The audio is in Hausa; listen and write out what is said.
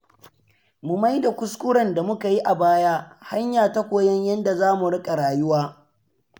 Mu maida kuskuren da muka yi a baya hanya ta koyon yadda zamu riƙa rayuwa.